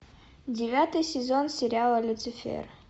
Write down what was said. девятый сезон сериала люцифер